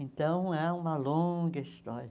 Então, é uma longa história.